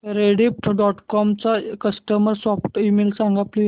Rediff dot com चा customer support email सांग please